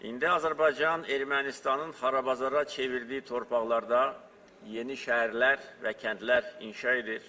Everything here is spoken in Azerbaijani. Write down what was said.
İndi Azərbaycan Ermənistanın xarabazara çevirdiyi torpaqlarda yeni şəhərlər və kəndlər inşa edir.